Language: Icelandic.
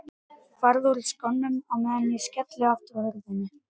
Farðu úr skónum á meðan ég skelli aftur hurðinni.